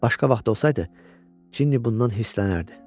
Başqa vaxt olsaydı, Cinni bundan hirslənərdi.